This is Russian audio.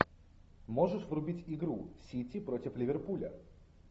можешь врубить игру сити против ливерпуля